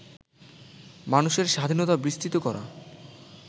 মানুষের স্বাধীনতা বিস্তৃত করা